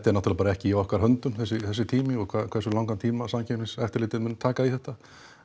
náttúrulega bara ekki í okkar höndum þessi tími og hversu langan tíma Samkeppniseftirlitið mun taka í þetta